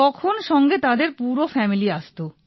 তখন সঙ্গে তাঁদের পুরো ফ্যামিলি আসতো